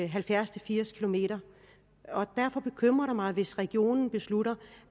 halvfjerds til firs km derfor bekymrer det mig hvis regionen beslutter